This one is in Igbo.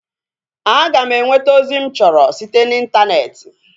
A ga m enweta ozi mụ chọrọ site na intaneeti